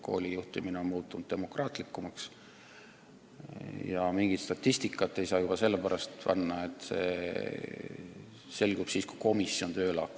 Koolijuhtimine on muutunud demokraatlikumaks, aga mingit statistikat ei saa juba sellepärast olla, et kõik selgub siis, kui komisjon tööle on hakanud.